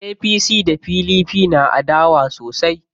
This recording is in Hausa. APC da PDP na adawa sosai.